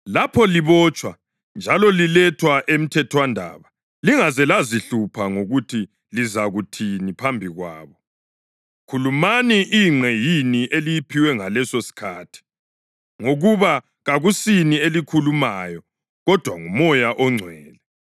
Lapho libotshwa njalo lilethwa emthethwandaba lingaze lazihlupha ngokuthi lizakuthini phambi kwabo. Khulumani ingqe yini eliyiphiwa ngalesosikhathi, ngoba kakusini elikhulumayo, kodwa nguMoya oNgcwele.